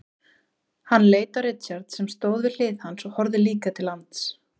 Hann leit á Richard sem stóð við hlið hans og horfði líka til lands.